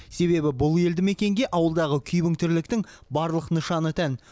себебі бұл елді мекенге ауылдағы күйбең тірліктің барлық нышаны тән